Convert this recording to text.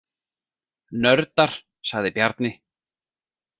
Nördar, sagði Bjarni.